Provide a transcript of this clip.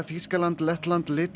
Þýskaland Lettland